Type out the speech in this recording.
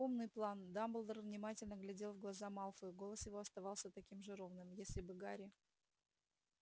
умный план дамблдор внимательно глядел в глаза малфою голос его оставался таким же ровным если бы гарри